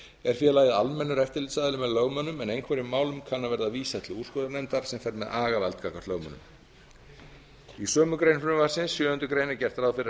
er félagið almennur eftirlitsaðili með lögmönnum en einhverjum málum kann að verða vísað til úrskurðarnefndar sem fer með agavald gagnvart lögmönnum í sömu grein frumvarpsins sjöundu grein er gert ráð fyrir að neytendastofa